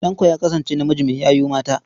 Tanko ya kasance namiji mai yayu mata.